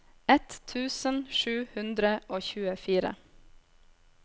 ett tusen sju hundre og tjuefire